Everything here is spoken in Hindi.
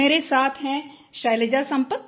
मेरे साथ हैं शैलजा संपत